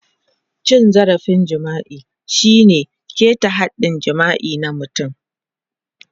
Cin zarafin jima'i shine ƙeta haɗɗin jima'i na mutum.